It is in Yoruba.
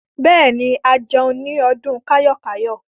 Bẹ́ẹ̀ ni, a jẹun ní ọdún kayo-kayo.